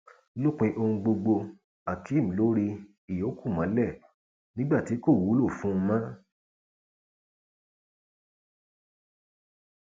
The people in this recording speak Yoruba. lópin ohun gbogbo akeem lóò ri ìyókù mọlẹ nígbà tí kò wúlú fún un mọ